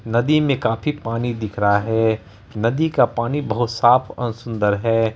नदी मे काफी पानी दिख रहा है नदी का पानी बोहोत साफ और सुंदर है।